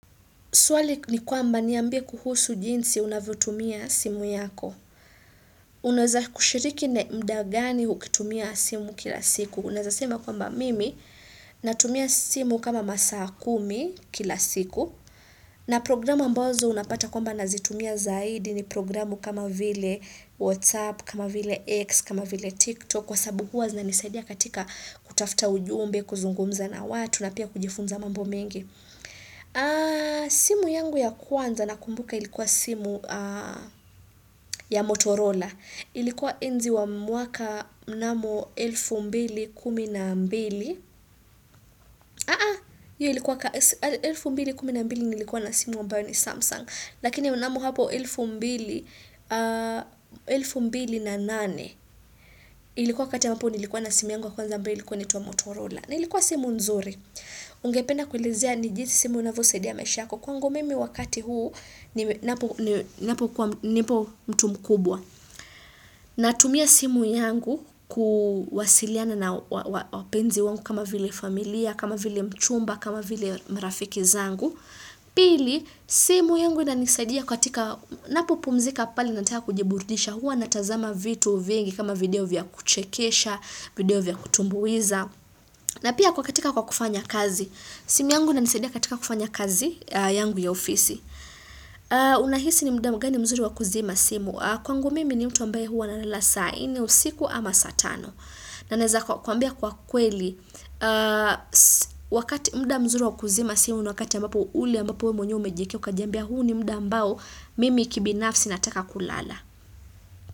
Swali ni kwamba ni ambie kuhusu jinsi unavyotumia simu yako. Unaweza kushiriki na mudagani ukitumia simu kila siku. Unaweza sema kwamba mimi natumia simu kama masaa kumi kila siku. Na programu ambazo unapata kwamba nazitumia zaidi ni programu kama vile WhatsApp, kama vile X, kama vile TikTok. Kwa sababu huwa zina nisaidia katika kutafta ujumbe, kuzungumza na watu, na pia kujifunza mambo mengi. Simu yangu ya kwanza na kumbuka ilikuwa simu ya Motorola Ilikuwa enzi wa mwaka mnamo 2012 Aa, yu ilikuwa kwa 2012 nilikuwa na simu ambayo ni Samsung Lakini mnamo hapo 2000 na nane Ilikuwa kati hapo nilikuwa na simu yangu ya kwanza ambayo ilikuwa inaitwa Motorola Nilikuwa simu nzuri Ungependa kuelizea ni jinsi simu unavyo saidia maisha yako Kwangu mimi wakati huu ni napo kuwa mtu mkubwa. Natumia simu yangu kuwasiliana na wapenzi wangu kama vile familia, kama vile mchumba, kama vile marafiki zangu. Pili, simu yangu inanisaidia katika napopumzika pale nataka kujiburidisha huwa natazama vitu vingi kama video vya kuchekesha, video vya kutumbuiza. Na pia kwa katika kwa kufanya kazi. Simu yangu ina nisaidia katika kufanya kazi yangu ya ofisi. Unahisi ni muda mgani mzuri wa kuzima simu kwangu mimi ni mtu ambae huwa na nalala sa nne usiku ama saatano na naeza kwa kuambia kwa kweli wakati muda mzuri wakuzima simu wakati ambapo ule ambapo we mwenyewe umejeke ukajambia huu ni muda ambao mimi kibinafsi nataka kulala.